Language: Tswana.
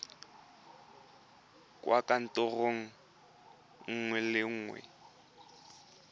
kwa kantorong nngwe le nngwe